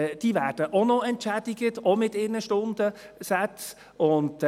Die werden auch noch mit ihren Stundensätzen entschädigt.